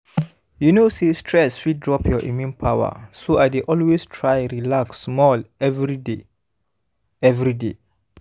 you know say stress fit drop your immune power so i dey always try relax small every day every day